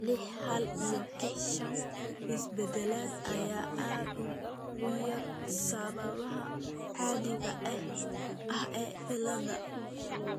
lix hal iyo kix shan isbeddellada ayaa aad uga yar sababaha caadiga ah ee cilladda.